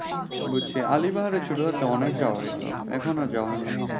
বুঝছি আলী বাহার ছোট থাকতে অনেক যাওয়া হইতো এখন আর তেমন যাওয়া হয়না।